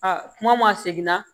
Aa kuma ma segin ka